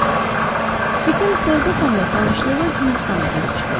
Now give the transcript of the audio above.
Dikən Ferqusonla tanışlığı Hindistana gedib çıxırdı.